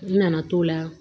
N nana t'o la